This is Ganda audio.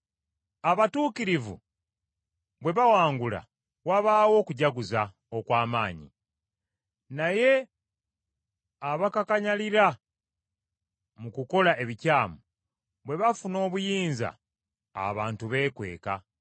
Abatuukirivu bwe bawangula wabaawo okujaguza okw’amaanyi, naye abakakanyalira mu kukola ebikyamu bwe bafuna obuyinza abantu beekweka.